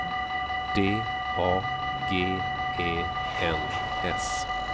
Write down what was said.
D A G E N S